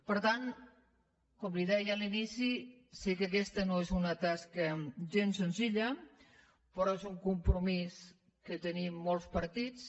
per tant com li deia a l’inici sé que aquesta no és una tasca gens senzilla però és un compromís que tenim molts partits